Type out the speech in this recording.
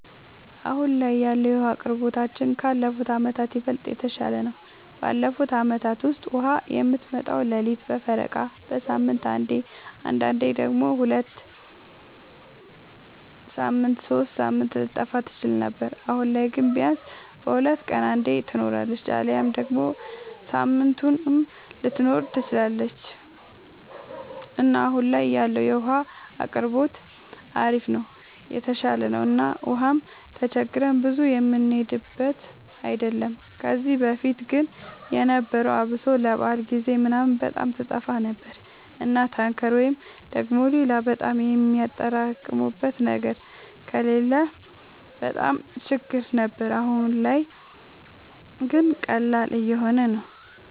አሁን ላይ ያለወለ የዉሀ አቅርቦታችን ካለፉት አመታት ይበልጥ የተሻለ ነው። ባለፉት አመታት ውስጥ ውሃ የምትመጣው ሌሊት በፈረቃ፣ በሳምንት አንዴ አንዳንዴም ደግሞ ሁለት ሳምንት ሶስት ሳምንት ልትጠፋ ትችል ነበር። አሁን ላይ ግን ቢያንስ በሁለት ቀን አንዴ ትኖራለች አሊያም ደግሞ ሳምንቱንም ልትኖር ትችላለች እና አሁን ላይ ያለው የውሃ አቅርቦታችን አሪፍ ነው የተሻሻለ ነው እና ውሃም ተቸግረን ብዙ የምንሄድበት አይደለም። ከዚህ በፊት ግን የነበረው አብሶ ለበዓል ጊዜ ምናምን በጣም ትጠፋ ነበር እና ታንከር ወይ ደግሞ ሌላ በጣም የሚያጠራቅሙበት ነገር ከሌለ በጣም ችግር ነበር። አሁን ላይ ግን ቀላል እየሆነ ነው።